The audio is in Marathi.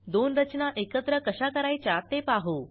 दोन रचना एकत्र कशा करायच्या ते पाहू